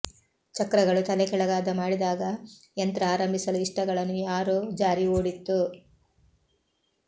ಚಕ್ರಗಳು ತಲೆಕೆಳಗಾದ ಮಾಡಿದಾಗ ಯಂತ್ರ ಆರಂಭಿಸಲು ಇಷ್ಟಗಳನ್ನು ಯಾರೋ ಜಾರಿ ಓಡಿತ್ತು